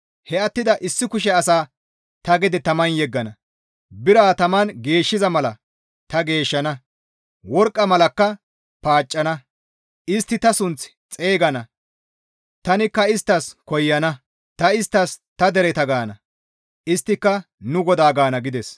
He attida issi kushe asaa ta gede taman yeggana; bira taman geeshshiza mala ta geeshshana; worqqa malakka paaccana; istti ta sunth xeygana; tanikka isttas koyana; ta isttas, ‹Ta dereta› gaana; isttika, ‹Nu GODAA› gaana» gides.